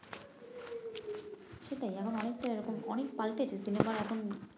সেটাই এখন অনেকটাই এরকম অনেক পাল্টেছে সিনেমার এখন